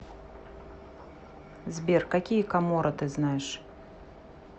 сбер какие каморра ты знаешь